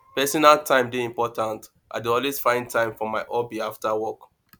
personal time dey important i dey always find time for my hobby after work